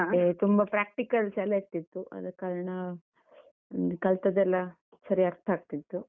ಮತ್ತೆ ತುಂಬ practicals ಎಲ್ಲ ಇರ್ತಿತ್ತು ಆದ ಕಾರಣ, ಹ್ಮ್ ಕಲ್ತದ್ದೆಲ್ಲ ಸರಿ ಅರ್ಥ ಆಗ್ತಿತ್ತು.